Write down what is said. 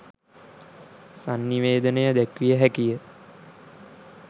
සන්නිවේදනය දැක්විය හැකිය.